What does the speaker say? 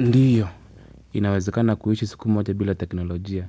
Ndio. Inawezekana kuishi siku moja bila teknolojia.